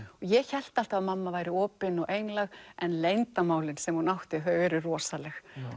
ég hélt alltaf að mamma væri opin og einlæg en leyndarmálin sem hún átti þau eru rosaleg